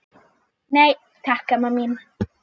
Nei, takk, amma mín.